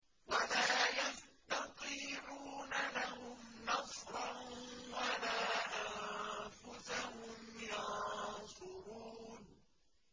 وَلَا يَسْتَطِيعُونَ لَهُمْ نَصْرًا وَلَا أَنفُسَهُمْ يَنصُرُونَ